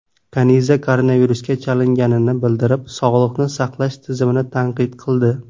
Kaniza koronavirusga chalinganini bildirib, sog‘liqni saqlash tizimini tanqid qildi .